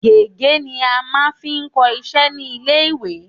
Gègé ni a máa fi ń kọ iṣẹ́ ní ilé-ìwé